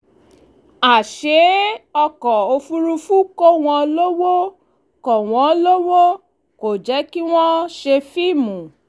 àṣẹ ọkọ̀ òfurufú kọ́ wọn lọwọ kò wọn lọwọ kò jẹ́ kí wọ́n ṣe fíìmù